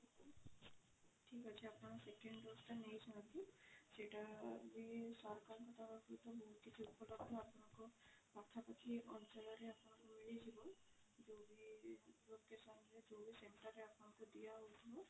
ଠିକ ଅଛି ଆପଣ second dose ଟା ନେଇ ଯାଅନ୍ତୁ ସେଇଟା ବି ସରକାରଙ୍କ ପାଖା ପାଖି ଅଞ୍ଚଳରେ ଆପଣଙ୍କୁ ମିଳିଯିବ ଯୋଉଠି location ରେ ଯୋଉ ବି centre ରେ ଆପଣଙ୍କୁ ଦିଅ ହୋଉଥିବ